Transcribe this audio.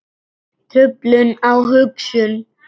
Truflun á hugsun